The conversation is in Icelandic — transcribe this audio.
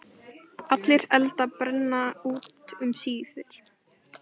Allir eldar brenna út um síðir.